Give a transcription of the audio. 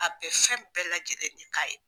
A be fɛn bɛɛ lajɛlen de k'a ye.